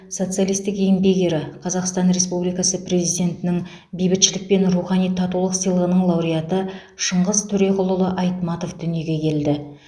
социалистік еңбек ері қазақстан республикасы президентінің бейбітшілік пен рухани татулық сыйлығының лауреаты шыңғыс төреқұлұлы айтматов дүниеге келді